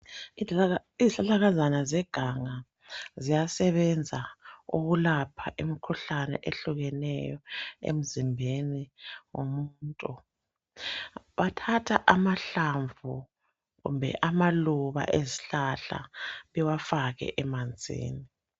Izihlahlakazana zeganga ziyasebenza ukulapha imikhuhlane ehlukeneyo emzimbeni womuntu bathatha amahlamvu kumbe amaluba ezihlahla bewafake emanzini.